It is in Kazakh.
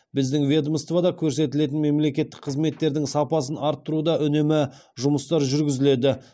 біздің ведомствода көрсетілетін мемлекеттік қызметтердің сапасын арттыруда үнемі жұмыстар жүргізіледі